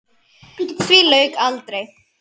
Því lauk aldrei.